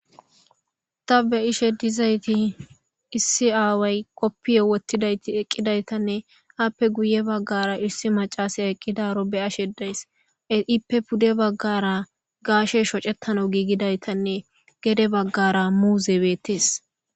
Ta be ishe dizayti issi aaway qoppiyo wottidayti eqqidaytanne haappe guye baggara issi macasay eqqidaro be'ashe dayss ippe pude baggara gaashe shocettano giigidaytanne gede baggara muuze beettees.